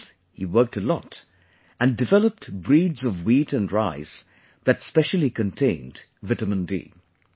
After this he worked a lot and developed breeds of wheat and rice that specially contained vitamin D